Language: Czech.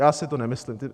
Já si to nemyslím.